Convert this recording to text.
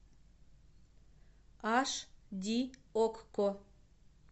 аш ди окко